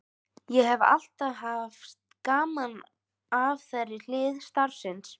Ég hef alltaf haft gaman af þeirri hlið starfsins.